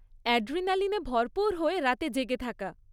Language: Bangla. অ্যাড্রিনালিনে ভরপুর হয়ে রাতে জেগে থাকা